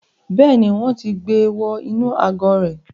Bẹ́ẹ̀ni, wọn ti gbe wọ inú àgò rẹ̀